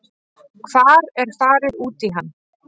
Hvar er farið út í hann?